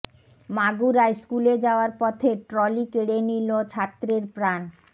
মাগুরায় স্কুলে যাওয়ার পথে ট্রলি কেড়ে নিল ছাত্রের প্রাণ